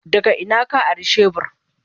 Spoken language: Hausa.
Daga ina ka ari shebur?